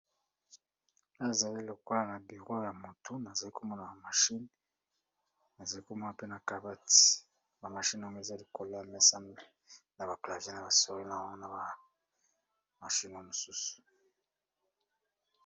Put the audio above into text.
Awa ezali lokola na bureau ya mutu naza komona machine na kabati ba machines eza likolo ya mesa.